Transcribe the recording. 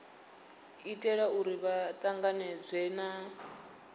itela uri vha tanganedzwe na